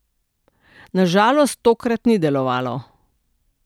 Na žalost tokrat ni delovalo.